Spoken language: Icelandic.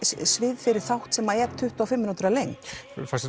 svið fyrir þátt sem er tuttugu og fimm mínútur að lengd fannst